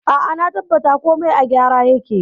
A'a, na tabbata komai a gyara yake.